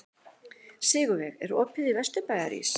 Sigurveig, er opið í Vesturbæjarís?